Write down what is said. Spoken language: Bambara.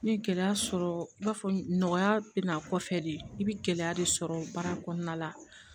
N ye gɛlɛya sɔrɔ n b'a fɔ nɔgɔya bɛ n'a kɔfɛ de i bɛ gɛlɛya de sɔrɔ baara kɔnɔna la